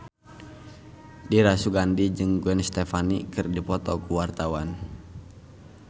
Dira Sugandi jeung Gwen Stefani keur dipoto ku wartawan